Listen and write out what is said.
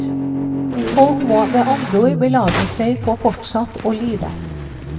Folk må med andre ord belage seg på fortsatt å lide.